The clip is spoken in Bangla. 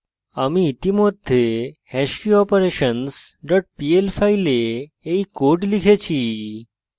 আমি ইতিমধ্যে hashkeyoperations dot pl file এই code লিখেছি